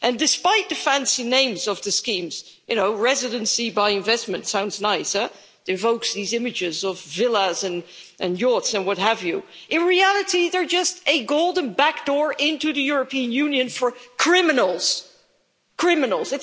Despite the fancy names of the schemes you know residency by investment' sounds nice, evokes these images of villas and yachts, and what have you in reality, they are just a golden backdoor into the European Union for criminals, criminals.